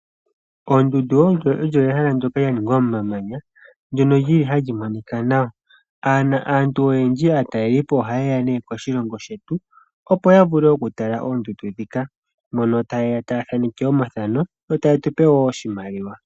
Ondundu olyo ehala ndoka lya ningwa momamanya ndono lili hali monika nawa aantu oyendji aatalelipo oha yeya nee koshilongo shetu opo ya vule okutala oondundu dhika moka tayeya taa thaaneka omathano yo taye tu pe wo oshimaliwa.